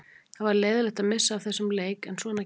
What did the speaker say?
Það var leiðinlegt að missa af þessum leik en svona gerist.